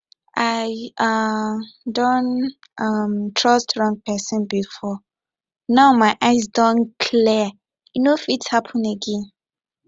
i um don um trust wrong person before now my eyes don clear e no fit happen again